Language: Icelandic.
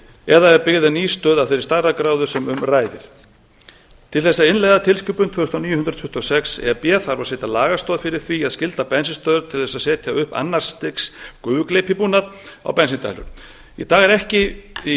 eða ef byggð er ný stöð af þeirri stærðargráðu sem um ræðir til þess að innleiða tilskipun tvö þúsund og níu hundrað tuttugu og sex e b þarf að setja lagastoð fyrir því að skylda bensínstöðvar til þess að setja upp annars stigs gufugleypibúnað á bensíndælur í